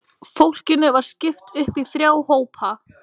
Fólkinu var skipt upp í þrjá hópa.